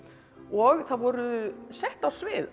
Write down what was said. og það voru sett á svið